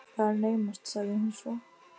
Það er naumast sagði hún svo.